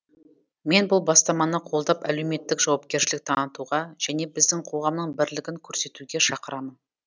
мен бұл бастаманы қолдап әлеуметтік жауапкершілік танытуға және біздің қоғамның бірлігін көрсетуге шақырамын